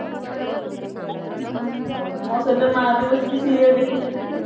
ହୁଁ ମୋ ସହିତ ମା ବି ବସିକି serial ଦେଖୁଛନ୍ତି